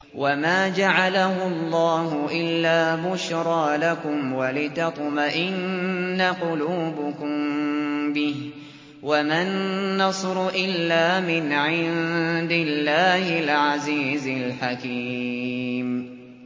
وَمَا جَعَلَهُ اللَّهُ إِلَّا بُشْرَىٰ لَكُمْ وَلِتَطْمَئِنَّ قُلُوبُكُم بِهِ ۗ وَمَا النَّصْرُ إِلَّا مِنْ عِندِ اللَّهِ الْعَزِيزِ الْحَكِيمِ